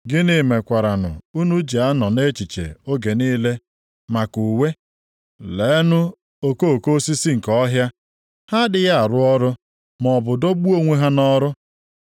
“Gịnị mekwaranụ unu ji na-anọ nʼechiche oge niile maka uwe? Leenụ okoko osisi nke ọhịa. Ha adịghị arụ ọrụ maọbụ dọgbuo onwe ha nʼọrụ.